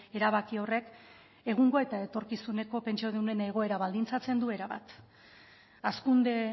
erabaki horrek egungoa eta etorkizuneko pentsiodunen egoera baldintzatzen du erabat hazkunde